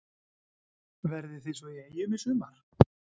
Verðið þið svo í Eyjum í sumar?